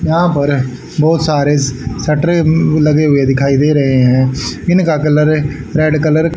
यहां पर बहुत सारे शटरें लगे हुए दिखाई दे रहे हैं इनका कलर रेड कलर --